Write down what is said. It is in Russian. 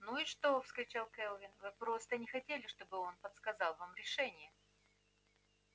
ну и что вскричал кэлвин вы просто не хотели чтобы он подсказал вам решение